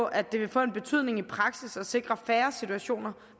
at det vil få en betydning i praksis og sikre færre situationer